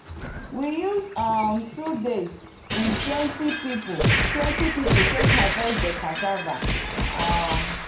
we use um two days with twenty people twenty people take harvest di cassava. um